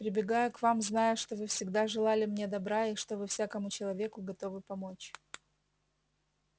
прибегаю к вам зная что вы всегда желали мне добра и что вы всякому человеку готовы помочь